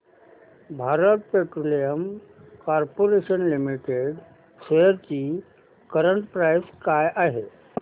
Bharat Petroleum Corporation Limited shares ची current price काय आहे